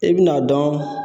E bin'a dɔn